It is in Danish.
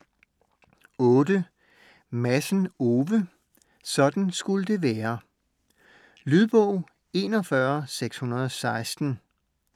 Madsen, Ove: Sådan skulle det være Lydbog 41616